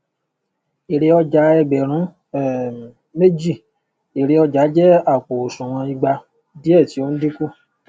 èrè ọjà ẹgbẹrun um méjì ere ọjà jẹ àpò òsùnwọn ìgba diẹ tí o n dínkù